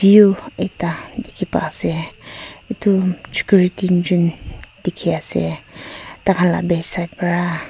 view ekta dikhi pai ase itu chukuri tinjun dikhiase taihan la backside pra.